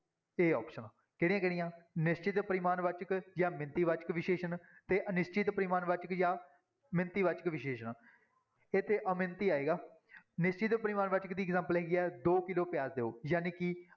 a option ਕਿਹੜੀਆਂ ਕਿਹੜੀਆਂ ਨਿਸ਼ਚਿਤ ਪਰਿਮਾਣ ਵਾਚਕ ਜਾਂ ਮਿਣਤੀ ਵਾਚਕ ਵਿਸ਼ੇਸ਼ਣ ਤੇ ਅਨਿਸ਼ਚਿਤ ਪਰਿਮਾਣਵਾਚਕ ਜਾਂ ਮਿਣਤੀ ਵਾਚਕ ਵਿਸ਼ੇਸ਼ਣ, ਇੱਥੇ ਅਮਿਣਤੀ ਆਏਗਾ, ਨਿਸ਼ਚਿਤ ਪਰਿਮਾਣਵਾਚਕ ਦੀ example ਹੈਗੀ ਆ ਦੋ ਕਿੱਲੋ ਪਿਆਜ਼ ਦਓ ਜਾਣੀ ਕਿ